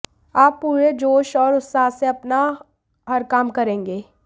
आप पूरे जोश और उत्साह से अपना हर काम करेंगे